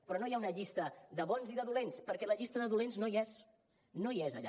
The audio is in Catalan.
però no hi ha una llista de bons i de dolents perquè la llista de dolents no hi és no hi és allà